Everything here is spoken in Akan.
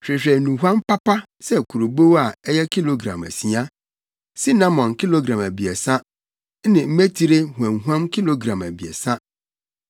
“Hwehwɛ nnuhuam papa sɛ kurobow a ɛyɛ kilogram asia, sinamon kilogram abiɛsa ne mmetire huamhuam kilogram abiɛsa.